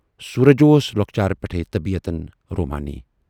سورج اوس لۅکچارٕ پٮ۪ٹھٕے طبیعتن رومانی۔